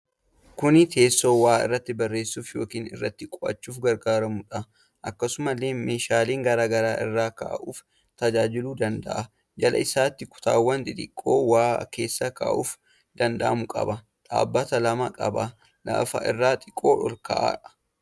Kuni teessoo waa irratti barreessuuf yookiin irratti qo'achuuf gargaarudha. Akkasumallee meeshaalee garaagaraa irra kaa'uuf tajaajiluu danda'a. Jala isaatti kutaawwan xixiqqoo waa keessa kaa'uun danda'amu qaba. Dhaabbata lama qaba. lafa irraa xiqqoo ol ka'a.